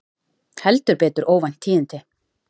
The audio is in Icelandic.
Heldur betur óvænt tíðindi